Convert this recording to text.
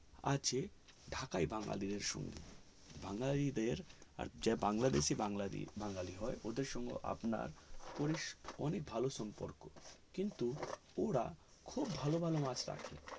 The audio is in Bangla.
আছে ঢাকায় বাঙালিদের সঙ্গে বাঙালিদের আর যে বাংলাদেশের বাঙালি হয় বাঙালি হয় ওদের সঙ্গে আপনার অনেক ভালো সম্পর্ক কিন্তু ওরা খুব ভালো ভালো মাছ অকে